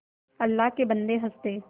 अल्लाह के बन्दे हंस दे